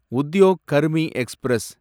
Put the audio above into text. Udyog Karmi express